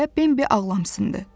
deyə Bembi ağlamsındı.